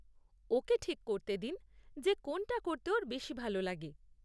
ওকেই ঠিক করতে দিন যে কোনটা করতে ওর বেশি ভালো লাগে।